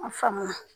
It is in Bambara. Faamuya